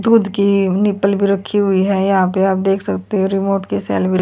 दूध की निप्पल भी रखी हुई है यहां पे आप देख सकते हो रिमोट की सेल भी--